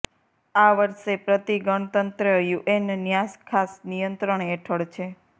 આ વર્ષે પ્રતિ ગણતંત્ર યુએન ન્યાસ ખાસ નિયંત્રણ હેઠળ છે